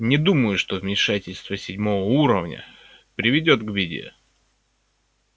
не думаю что вмешательство седьмого уровня приведёт к беде